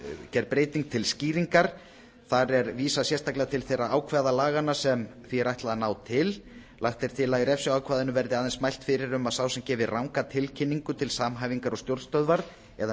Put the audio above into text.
gerð breyting til skýringar þar er vísað sérstaklega til þeirra ákvæða laganna sem því er ætlað að ná til lagt er til að í refsiákvæðinu verði aðeins mælt fyrir um að sá sem gefi ranga tilkynningu til samhæfingar og stjórnstöðvar eða